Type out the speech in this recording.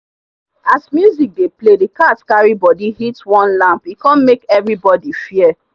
as music dey play the cat carry body hit one lamp e come make everybody fear.